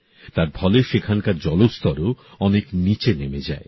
তার ফলে সেখানকার জলস্তরও অনেক নিচে নেমে যায়